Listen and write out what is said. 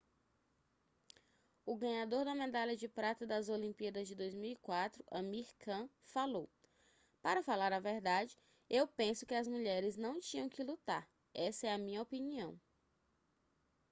o ganhador da medalha de prata das olimpíadas de 2004 amir khan falou para falar a verdade eu penso que as mulheres não tinham que lutar essa é a minha opinião